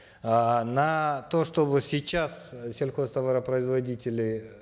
э на то чтобы сейчас сельхозтоваропроизводители